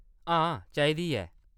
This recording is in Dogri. हां, चाहिदी ऐ।